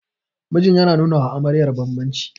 mijin yana nunawa amaryar bambanci